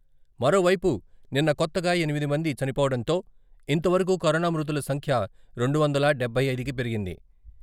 మరోవైపు, నిన్న కొత్తగా ఎనిమిది మంది చనిపోవడంతో ఇంతవరకు కరోనా మృతుల సంఖ్య రెండువందల డబ్బై ఐదుకి పెరిగింది.